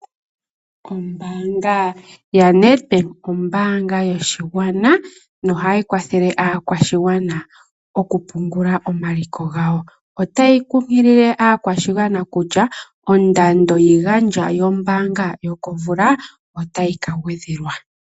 Ombaanga yaNedbank ombaanga yoshigwana nohayi kwathele aakwashigwana okupungula omaliko gawo. Otayi kunkilile aakwashigwana kutya ondando yiigandjwa yombaanga yokomvula otayi ka gwedhelwa.